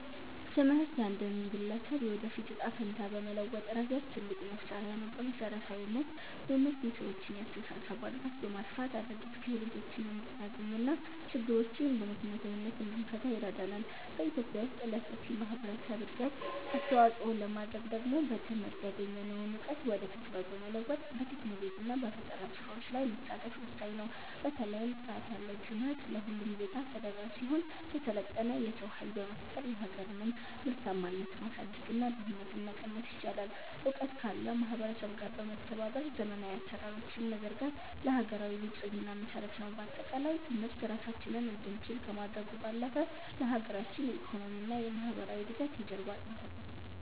ትምህርት የአንድን ግለሰብ የወደፊት ዕጣ ፈንታ በመለወጥ ረገድ ትልቁ መሣሪያ ነው። በመሠረታዊነት፣ ትምህርት የሰዎችን የአስተሳሰብ አድማስ በማስፋት አዳዲስ ክህሎቶችን እንድናገኝና ችግሮችን በምክንያታዊነት እንድንፈታ ይረዳናል። በኢትዮጵያ ውስጥ ለሰፊው ማኅበረሰብ እድገት አስተዋፅኦ ለማድረግ ደግሞ በትምህርት ያገኘነውን እውቀት ወደ ተግባር በመለወጥ፣ በቴክኖሎጂና በፈጠራ ሥራዎች ላይ መሳተፍ ወሳኝ ነው። በተለይም ጥራት ያለው ትምህርት ለሁሉም ዜጋ ተደራሽ ሲሆን፣ የሰለጠነ የሰው ኃይል በመፍጠር የሀገርን ምርታማነት ማሳደግና ድህነትን መቀነስ ይቻላል። እውቀት ካለው ማኅበረሰብ ጋር በመተባበር ዘመናዊ አሠራሮችን መዘርጋት ለሀገራዊ ብልጽግና መሠረት ነው። በአጠቃላይ፣ ትምህርት ራሳችንን እንድንችል ከማድረጉም ባለፈ፣ ለሀገራችን የኢኮኖሚና የማኅበራዊ እድገት የጀርባ አጥንት ነው።